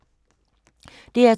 DR2